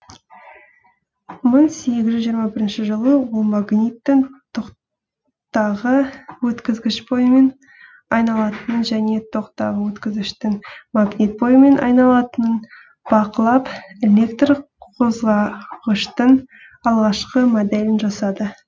мың сегіз жүз жиырма бірінші жылы ол магниттің токтағы өткізгіш бойымен айналатынын және токтағы өткізгіштің магнит бойымен айналатынын бақылап электр қозғағыштың алғашқы моделін жасады